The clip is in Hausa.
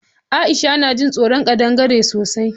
Aisha na jin tsoron ƙadangare sosai